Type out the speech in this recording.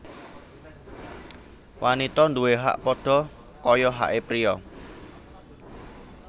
Wanita nduwe hak padha kaya hake priya